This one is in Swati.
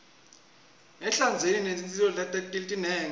ehlandzeni kunetitselo letinengi